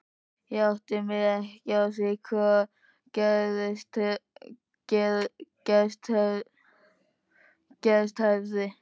Ég áttaði mig ekki á því hvað gerst hafði.